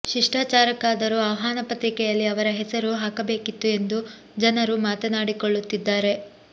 ಶಿಷ್ಠಾಚಾರಕ್ಕಾದರೂ ಆಹ್ವಾನ ಪತ್ರಿಕೆಯಲ್ಲಿ ಅವರ ಹೆಸರು ಹಾಕಬೇಕಿತ್ತು ಎಂದು ಜನರು ಮಾತನಾಡಿಕೊಳ್ಳುತ್ತಿದ್ದಾರೆ